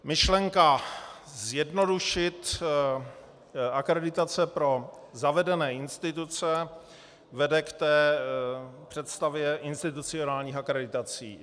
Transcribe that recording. Myšlenka zjednodušit akreditace pro zavedené instituce vede k té představě institucionálních akreditací.